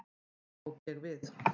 Þá tók ég við.